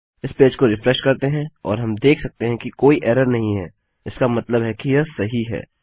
इस पेज को रिफ्रेश करते हैं और हम देख सकते हैं कि कोई एरर नहीं है इसका मतलब है कि यह सही है